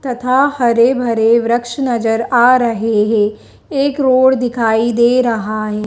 तथा हरे भरे वृक्ष नजर आ रहे हैं एक रोड दिखाई दे रहा हैं।